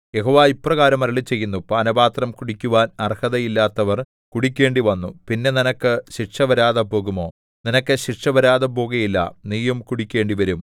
യഹോവ ഇപ്രകാരം അരുളിച്ചെയ്യുന്നു പാനപാത്രം കുടിക്കുവാൻ അർഹതയില്ലാത്തവർ കുടിക്കേണ്ടിവന്നു പിന്നെ നിനക്ക് ശിക്ഷ വരാതെ പോകുമോ നിനക്ക് ശിക്ഷ വരാതെ പോകുകയില്ല നീയും കുടിക്കേണ്ടിവരും